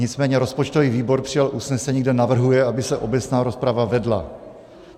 Nicméně rozpočtový výbor přijal usnesení, kde navrhuje, aby se obecná rozprava vedla.